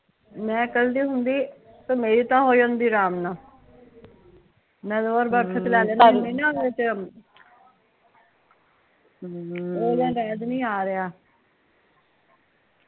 ਮੈਂ ਕਹਿਦੀ ਹੁੰਦੀ ਮੇਰੀ ਤਾਂ ਹੋ ਜਾਂਦੀ ਅਰਾਮ ਨਾਲ਼ ਮੈ ਚ ਲੈ ਲੈਂਦੀ ਹੁੰਦੀ ਨਾ ਉਹਦੇ ਚ ਹਮ